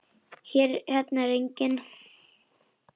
Hérna er enginn.